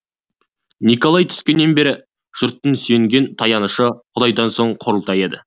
николай түскеннен бері жұрттың сүйенген таянышы құдайдан соңғы құрылтайы еді